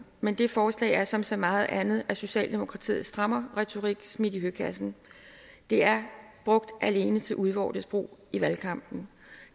men det forslag er som så meget andet af socialdemokratiets strammerretorik smidt i høkassen det er brugt alene til udvortes brug i valgkampen